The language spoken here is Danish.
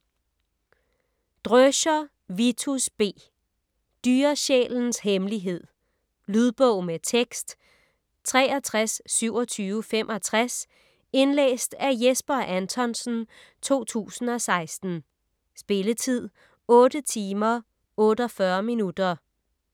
Dröscher, Vitus B.: Dyresjælens hemmelighed Lydbog med tekst 632765 Indlæst af Jesper Anthonsen, 2016. Spilletid: 8 timer, 48 minutter.